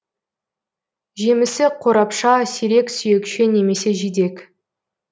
жемісі қорапша сирек сүйекше немесе жидек